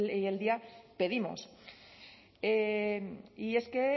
y hoy en día pedimos y es que